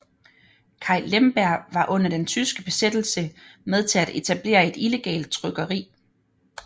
Kai Lemberg var under den tyske besættelse med til at etablere et illegalt trykkeri